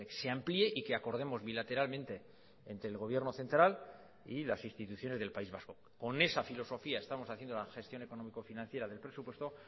se amplíe y que acordemos bilateralmente entre el gobierno central y las instituciones del país vasco con esa filosofía estamos haciendo la gestión económico financiera del presupuesto